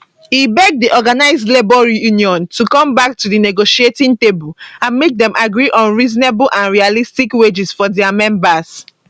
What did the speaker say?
e beg di organised labour union to come back to di negotiating table and make dem agree on reasonable and realistic wages for dia members